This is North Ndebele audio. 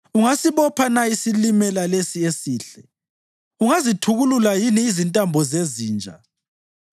Ungasibopha na isiLimela lesi esihle? Ungazithukulula yini izintambo zeziNja?